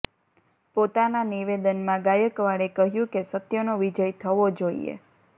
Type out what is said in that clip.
પોતાના નિવેદનમાં ગાયકવાડે કહ્યું કે સત્યનો વિજય થવો જોઈએ